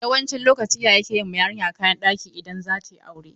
Yawancin lokaci iyaye ke yi ma yarinya kayan ɗaki in za ta yi aure.